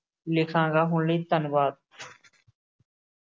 ਲਿਖਾਂਗਾ, ਹੁਣ ਲਈ ਧੰਨਵਾਦ।